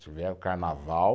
Tiver o carnaval